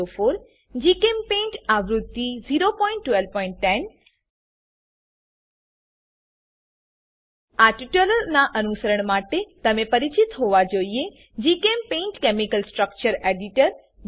1204 GChemPaint આવૃત્તિ 01210 આ ટ્યુટોરીયલનાં અનુસરણ માટે તમે પરિચિત હોવા જોઈએ જીચેમ્પેઇન્ટ કેમિકલ સ્ટ્રક્ચર એડિટર